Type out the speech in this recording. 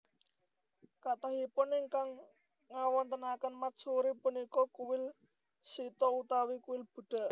Kathahipun ingkang ngawontenaken matsuri punika kuil Shinto utawi kuil Buddha